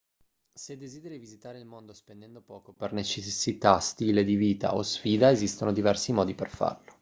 se desideri visitare il mondo spendendo poco per necessità stile di vita o sfida esistono diversi modi per farlo